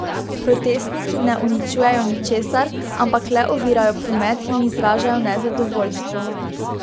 Protestniki ne uničujejo ničesar, ampak le ovirajo promet in izražajo nezadovoljstvo.